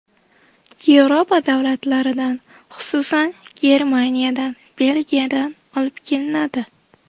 Yevropa davlatlaridan, xususan, Germaniyadan, Belgiyadan olib kelinadi.